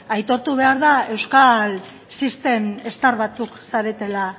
aitortu behar da euskal system star batzuk zaretela